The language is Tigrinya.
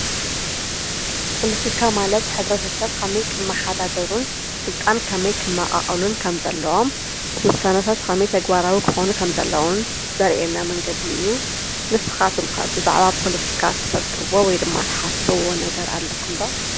ፖለቲካ ማለት ሕብረተሰብ ከመይ ክመሓዳደሩ ስልጣን ከመይ ክመቓቐሉን ከም ዘለዎን ውሳነታት ከመይ ተግባራዊ ክኾን ከምዘለዎምን ዘርኤና መንገዲ እዩ ንስኻትኩምከ ብዛዕባ ፖለቲካ ትፈልጥዎ ወይ ድማ ተሓስብዎ ነገር ኣለኩምዶ ?